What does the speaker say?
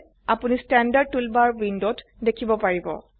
আপোনি standard toolbar উইন্ডোত দেখিব পাৰিব